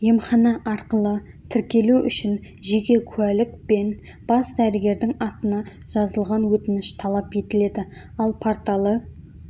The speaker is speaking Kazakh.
емхана арқылы тіркелу үшін жеке куәлік пен бас дәрігердің атына жазылған өтініш талап етіледі ал порталы